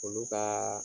Olu ka